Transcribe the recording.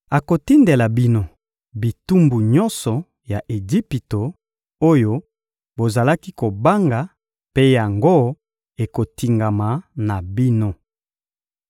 Akotindela bino bitumbu nyonso ya Ejipito, oyo bozalaki kobanga mpe yango ekotingama na bino.